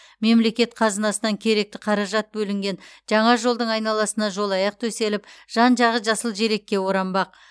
мемлекет қазынасынан керекті қаражат бөлінген жаңа жолдың айналасына жолаяқ төселіп жан жағы жасыл желекке оранбақ